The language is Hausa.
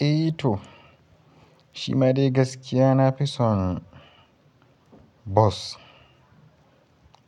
Eh to, shi ma dai gaskiya na fi son bus